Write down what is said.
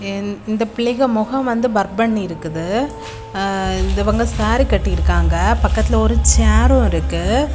இந் இந்தப் பிள்ளைக்கு முகம் வந்து பர்ப்பன்னிருக்குது இவங்க சாரி கட்டிருக்காங்க பக்கத்துல ஒரு சேர்று இருக்கு.